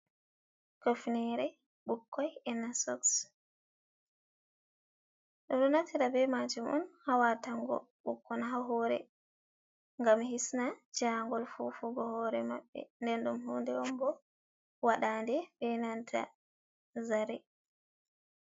Cofnere bukkoi ena soks, bedo naftira be majum on ha watango bukkon ha hore, gam hisna jangol fufugo hore mabbe, nden dum hunde on bo wadande be nata zare.